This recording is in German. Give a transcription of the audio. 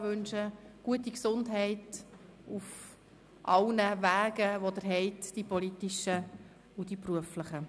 Ich wünsche Ihnen gute Gesundheit und ein gutes 2018 auf all Ihren Wegen, den politischen und den beruflichen.